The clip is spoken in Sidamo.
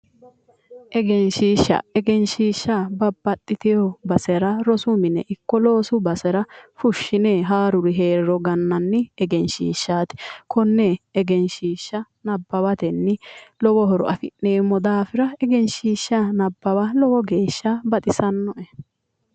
Egenshishsha ,egenshishsha babbaxitino basera rosu mine ikko loosu basera fushine haaruri heeriro gananni egenshiishati kone egenshishsha nabbawateni lowo horo afi'neemmo daafira egenshishsha nabbawa lowo geeshsha baxisanoe